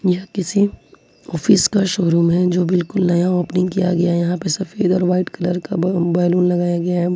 यह किसी ऑफिस का शोरूम है जो बिल्कुल नया ओपनिंग किया गया यहां पर सफेद और वाइट कलर का बैलून लगाया गया है।